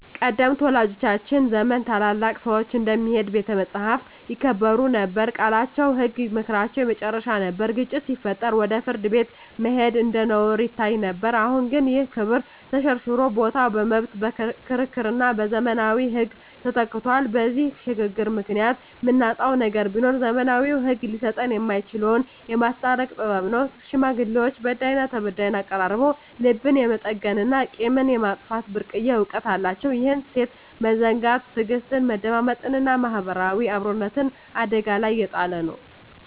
ቀደምት ወላጆቻችን ዘመን ታላላቅ ሰዎች እንደ "የሚሄድ ቤተ መጻሕፍት" ይከበሩ ነበር፤ ቃላቸው ህግ፣ ምክራቸው የመጨረሻ ነበር። ግጭት ሲፈጠር ወደ ፍርድ ቤት መሄድ እንደ ነውር ይታይ ነበር። አሁን ግን ይህ ክብር ተሸርሽሮ ቦታው በመብት ክርክርና በዘመናዊ ህግ ተተክቷል። በዚህ ሽግግር ምክንያት የምናጣው ነገር ቢኖር፣ ዘመናዊው ህግ ሊሰጠን የማይችለውን "የማስታረቅ ጥበብ" ነው። ሽማግሌዎች በዳይና ተበዳይን አቀራርበው ልብን የመጠገንና ቂምን የማጥፋት ብርቅዬ እውቀት አላቸው። ይህን እሴት መዘንጋት ትዕግስትን፣ መደማመጥንና ማህበራዊ አብሮነትን አደጋ ላይ እየጣለ ነው።